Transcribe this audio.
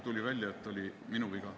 Tuli välja, et see oli minu viga.